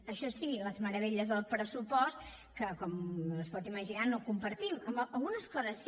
això sí les meravelles del pressupost que com es pot imaginar no compartim algunes coses sí